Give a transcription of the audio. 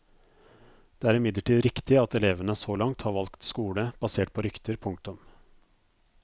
Det er imidlertid riktig at elevene så langt har valgt skole basert på rykter. punktum